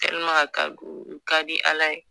Tɛliman a ka di u ka di ala ye